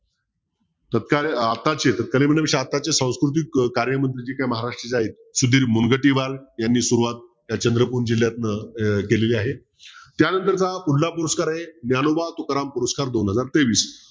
आत्ताचे म्हणजे सांस्कृतिक कार्य जी काही महाराष्ट्राची आहेत सुधीर मूलघट्टीबाल यांनी सुरवात चंद्रपूर जिल्ह्यातनं अं केलेली आहे त्यानंतरचा हा पुढला पुरस्कार आहे ज्ञानोबा तुकाराम पुरस्कार दोन हजार तेवीस